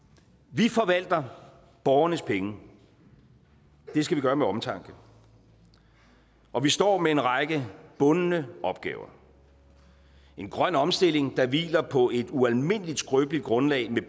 vi forvalter borgernes penge det skal vi gøre med omtanke og vi står med en række bundne opgaver en grøn omstilling der hviler på et ualmindelig skrøbeligt grundlag med